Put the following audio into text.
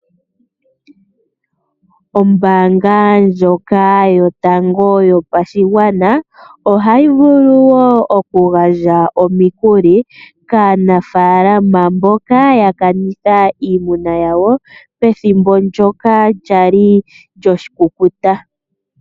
Ombaanga ndjoka yotango yopashigwana ohayi vulu woo oku gandja omikuli kaanafaalama mboka ya kanitha iimuna yawo pethimbo ndyoka lyali lyoshikukuta.